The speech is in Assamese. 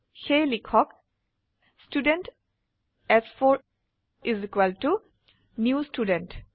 সেয়ে লিখক ষ্টুডেণ্ট চ4 is equal to new student